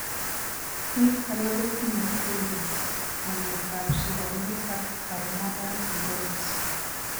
Biik alak kotinye colitis, ng'emetab soromiet ak pulmonary fibrosis.